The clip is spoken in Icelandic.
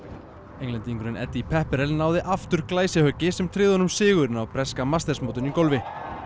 Englendingurinn Eddie Pepperell náði aftur sem tryggði honum sigur á breska masters mótinu í golfi